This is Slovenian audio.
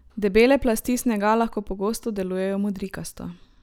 Debele plasti snega lahko pogosto delujejo modrikasto.